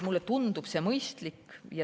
Mulle tundub see mõistlik.